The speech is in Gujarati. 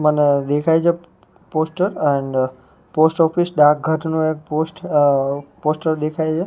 મને દેખાય છે પોસ્ટર એન્ડ પોસ્ટઓફિસ ડાકઘરનું એક પોસ્ટ અ પોસ્ટર દેખાય છે.